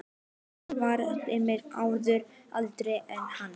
Nonni var tveimur árum eldri en hann.